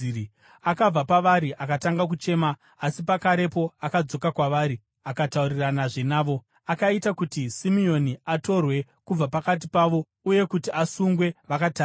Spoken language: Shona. Akabva pavari akatanga kuchema, asi pakarepo akadzoka kwavari akatauriranazve navo. Akaita kuti Simeoni atorwe kubva pakati pavo uye kuti asungwe vakatarisa.